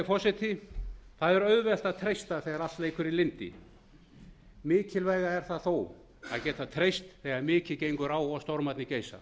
forseti það er auðvelt að treysta þegar allt leikur í lyndi mikilvægara er það þó að geta treyst þegar mikið gengur á og stormarnir geisa